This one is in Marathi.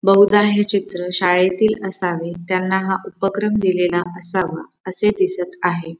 बहुदा हे चित्र शाळेतील असावे त्यांना हा उपक्रम दिलेला असावा असे दिसत आहे.